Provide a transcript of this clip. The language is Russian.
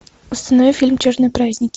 установи фильм черные праздники